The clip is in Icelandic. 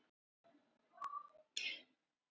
Viktor Örn Guðmundsson tók spyrnuna en hún fór rétt yfir.